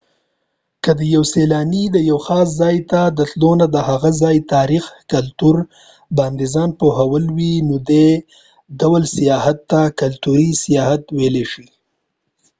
که د یو سیلانی د یوه خاص ځای ته د تلو نه د هغه ځای د تاریخ ،کلتور باندي ځان پوهول وي نو دي ډول سیاحت ته کلتوری سیاحت ويلای شي